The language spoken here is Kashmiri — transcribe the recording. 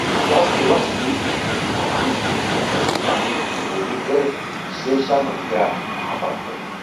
یہ آو تروَہ صدی عیسوی منٛز بناونہٕ، تہٕ اَمچہِ تٲمیرٕچ نگرٲنی كٔر سیو سامنترا مہاپاترن